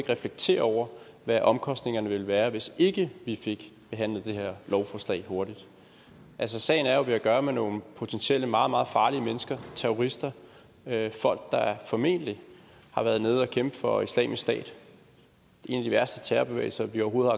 reflekterer over hvad omkostningerne vil være hvis ikke vi fik behandlet det her lovforslag hurtigt altså sagen er jo at vi har at gøre med nogle potentielt meget meget farlige mennesker terrorister folk der formentlig har været nede og kæmpe for islamisk stat en af de værste terrorbevægelse vi overhovedet